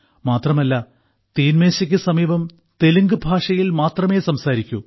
മാത്രമല്ല തീൻമേശക്ക് സമീപം തെലുങ്ക് ഭാഷയിൽ മാത്രമേ സംസാരിക്കൂ